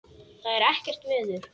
Það er ekkert veður.